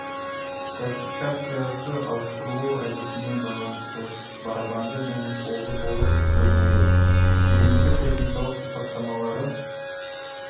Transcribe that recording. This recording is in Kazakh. классификациясы ауыстырылу әдісіне байланысты барабанды және қолды болып бөлінеді негізгі техникалық сипаттамалары